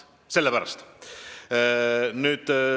Sellepärast.